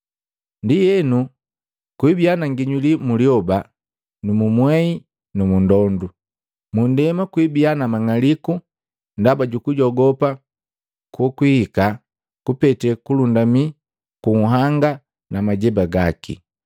“Ndienu kwibia na nginyuli mu lyoba, mu mwei na mu ndondu. Mu ndema kwibia na mang'aliku ndaba jukujogopa kukwihika kupete kulundamii ku nhanga na majeba gaki.